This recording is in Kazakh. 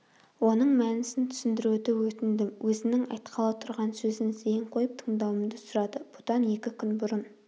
оның мәнісін түсіндіруді өтіндім өзінің айтқалы тұрған сөзін зейін қойып тыңдауымды сұрады бұдан екі күн бұрын